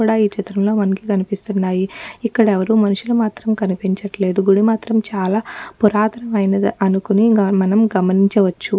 కూడా ఈ చిత్రంలో మనకి కనిపిస్తున్నాయి ఇక్కడ ఎవ్వరూ మనుషులు మాత్రం కనిపించట్లేదు గుడిమత్రం చాలా పురాతనమైనది అనుకొని మనం గమనించవచ్చు.